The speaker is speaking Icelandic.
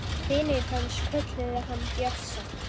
Vinir hans kölluðu hann Bjössa.